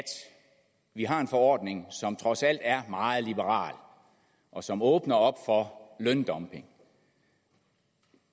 vi har en forordning som trods alt er meget liberal og som åbner op for løndumping